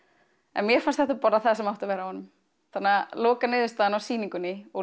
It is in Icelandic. en mér fannst þetta bara það sem átti að vera á honum þannig að lokaniðurstaðan á sýningunni og